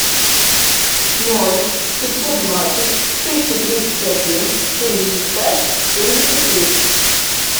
ноль пятьсот двадцать триста тридцать один семьдесят пять семьдесят три